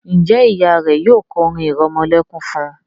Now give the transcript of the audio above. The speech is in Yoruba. Njé Ìyá rẹ yóò ko orin iremolekun fún?